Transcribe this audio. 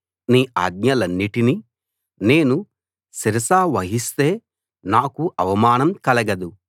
నీ ఆజ్ఞలన్నిటినీ నేను శిరసావహిస్తే నాకు అవమానం కలగదు